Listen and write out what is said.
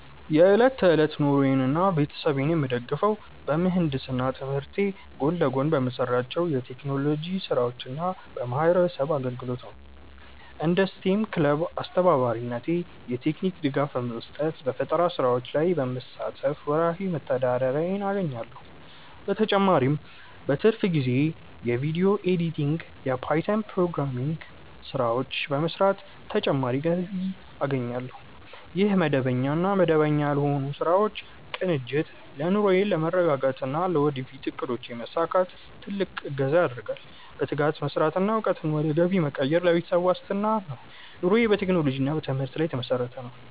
የዕለት ተዕለት ኑሮዬንና ቤተሰቤን የምደግፈው በምህንድስና ትምህርቴ ጎን ለጎን በምሰራቸው የቴክኖሎጂ ስራዎችና በማህበረሰብ አገልግሎት ነው። እንደ ስቴም ክለብ አስተባባሪነቴ የቴክኒክ ድጋፍ በመስጠትና በፈጠራ ስራዎች ላይ በመሳተፍ ወርሃዊ መተዳደሪያዬን አገኛለሁ። በተጨማሪም በትርፍ ጊዜዬ የቪዲዮ ኤዲቲንግና የፓይተን ፕሮግራሚንግ ስራዎችን በመስራት ተጨማሪ ገቢ አገኛለሁ። ይህ መደበኛና መደበኛ ያልሆኑ ስራዎች ቅንጅት ለኑሮዬ መረጋጋትና ለወደፊት እቅዶቼ መሳካት ትልቅ እገዛ ያደርጋል። በትጋት መስራትና እውቀትን ወደ ገቢ መቀየር ለቤተሰብ ዋስትና ነው። ኑሮዬ በቴክኖሎጂና በትምህርት ላይ የተመሰረተ ነው።